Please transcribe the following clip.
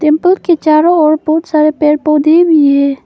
के चारों ओर बहुत सारे पेड़ पौधे भी है।